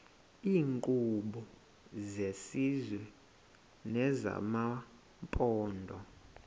iinkqubo zesizwe nezamaphondo